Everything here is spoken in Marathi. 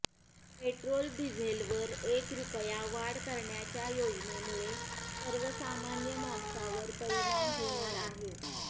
पेट्रोल डिझेलवर एक रुपया वाढ करण्याच्या योजनेमुळे सर्वसामान्य माणसावर परिणाम होणार आहे